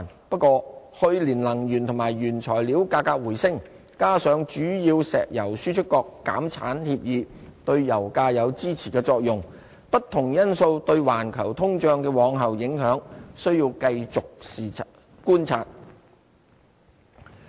不過，去年能源和原材料價格回升，加上主要石油輸出國減產協議對油價有支持作用，不同因素對環球通脹的往後影響，需要繼續觀察。